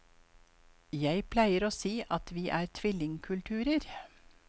Jeg pleier å si at vi er tvillingkulturer.